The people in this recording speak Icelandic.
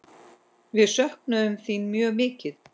Við söknum þín mjög mikið.